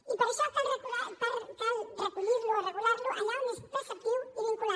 i per això cal recollir lo o regular lo allà on és preceptiu i vinculant